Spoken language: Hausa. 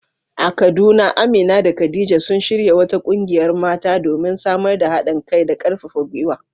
A Kaduna, Amina da Khadija sun shirya wata kungiyar mata, domin samar da hadin kai da karfafa gwiwa.